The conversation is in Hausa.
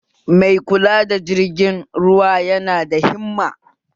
Mai kula da jirgin ruwa yana da himma